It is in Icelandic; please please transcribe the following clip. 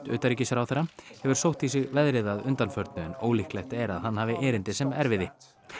utanríkisráðherra hefur sótt í sig veðrið að undanförnu en ólíklegt er að hann hafi erindi sem erfiði